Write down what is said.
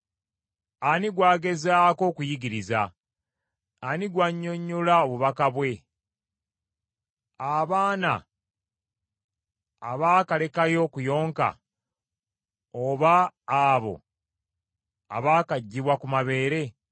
“Ani gw’agezaako okuyigiriza? Ani gw’annyonnyola obubaka bwe? Abaana abaakalekayo okuyonka oba abo abaakaggibwa ku mabeere?